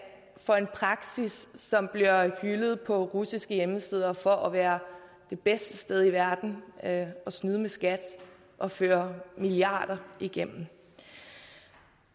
for en praksis som bliver hyldet på russiske hjemmesider for at være det bedste sted i verden at snyde med skat og føre milliarder igennem